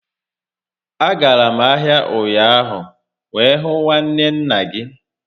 A gara m ahia ụnyaahụ wee hụ nwanne nna gị